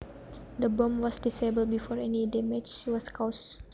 The bomb was disabled before any damage was caused